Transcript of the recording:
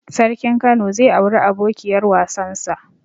Sarkin kano zai auri abokiyar wasan sa